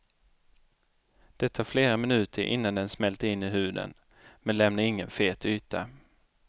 Det tar flera minuter innan den smälter in i huden, men lämnar ingen fet yta.